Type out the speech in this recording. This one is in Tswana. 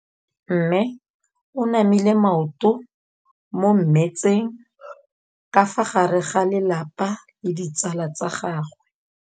Mme o namile maoto mo mmetseng ka fa gare ga lelapa le ditsala tsa gagwe.